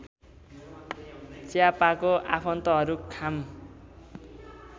च्हापाको आफन्तहरू खाम